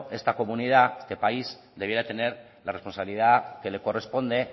esta comunidad este país debiera tener la responsabilidad que le corresponde